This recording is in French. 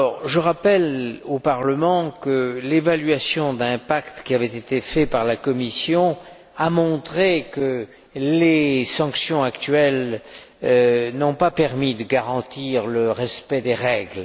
Je rappelle au Parlement que l'évaluation d'impact faite par la Commission a montré que les sanctions actuelles n'ont pas permis de garantir le respect des règles.